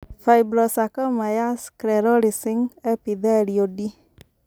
Fibrosarcoma ya sclerosing epithelioid.